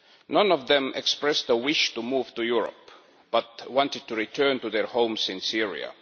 None of them expressed a wish to move to Europe, but wanted to return to their homes in Syria.